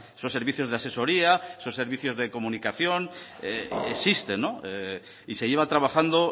son servicios de asesoría son servicios de comunicación existen y se lleva trabajando